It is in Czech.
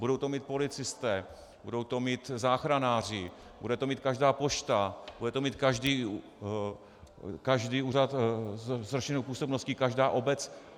Budou to mít policisté, budou to mít záchranáři, bude to mít každá pošta, bude to mít každý úřad s rozšířenou působností, každá obec?